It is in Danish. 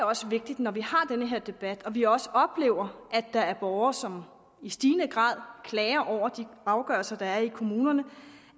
også vigtigt når vi har den her debat og når vi også oplever at der er borgere som i stigende grad klager over de afgørelser der er i kommunerne